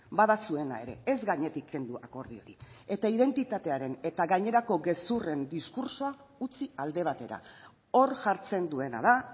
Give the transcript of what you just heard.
bada zuena ere ez gainetik kendu akordio hori eta identitatearen eta gainerako gezurren diskurtsoa utzi alde batera hor jartzen duena da